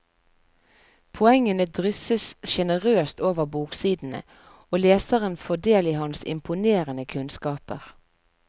Poengene drysses generøst over boksidene, og leseren får del i hans imponerende kunnskaper.